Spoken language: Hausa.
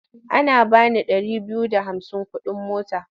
Ana ba ni ɗari biyu da hamsin kuɗin mota.